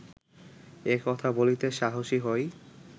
এ কথা বলিতে সাহসী হই